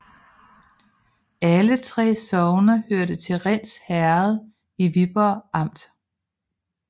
Alle 3 sogne hørte til Rinds Herred i Viborg Amt